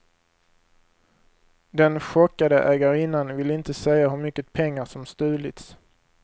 Den chockade ägarinnan vill inte säga hur mycket pengar som stulits.